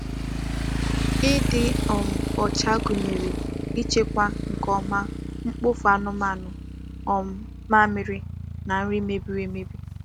Ịdị um ọcha gụnyere ịchịkwa nke ọma mkpofu anụmanụ, um mmamịrị, na nri mebiri emebi.